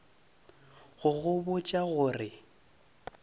go go botša go re